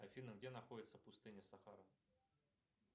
афина где находится пустыня сахара